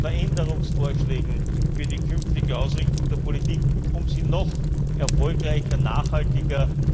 Veränderungsvorschlägen für die künftige Ausrichtung der Politik, um sie noch erfolgreicher, nachhaltiger,